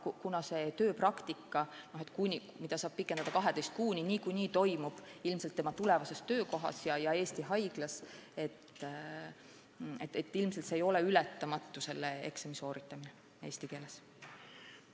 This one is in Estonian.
Kuna see tööpraktika, mida saab pikendada 12 kuuni, niikuinii toimub ilmselt tema tulevases töökohas ja Eesti haiglas, siis ilmselt ei ole selle eksami sooritamine eesti keeles ületamatu probleem.